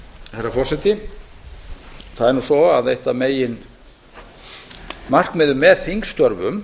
herra forseti það er nú svo að eitt af meginmarkmiðum með þingstörfum